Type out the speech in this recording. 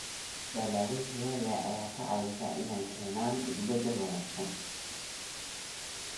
Dalagyada tayada leh ayaa ka caawiya inay keenaan isbeddel wanaagsan.